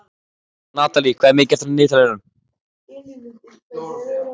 Natalí, hvað er mikið eftir af niðurteljaranum?